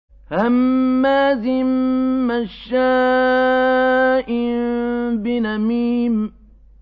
هَمَّازٍ مَّشَّاءٍ بِنَمِيمٍ